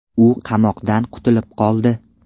U qamoqdan qutulib qoldi.